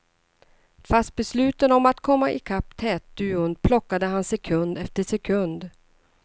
Fast besluten om att komma ikapp tätduon plockade han sekund efter sekund.